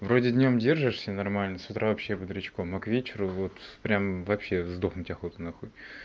вроде днём держишься нормально с утра вообще бодрячком а к вечеру вот прям вообще сдохнуть охота на хуй